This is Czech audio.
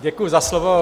Děkuji za slovo.